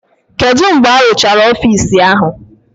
Kedu mgbe arụchara ọfisi ahụ?